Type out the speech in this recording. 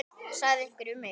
sagði einhver við mig.